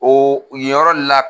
O yen yɔrɔ de la.